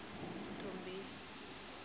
nthombeni